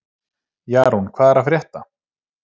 Jarún, hvað er að frétta?